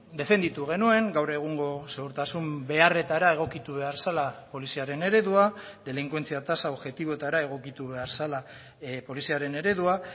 defenditu genuen gaur egungo segurtasun beharretara egokitu behar zela poliziaren eredua delinkuentzia tasa objektiboetara egokitu behar zela poliziaren eredua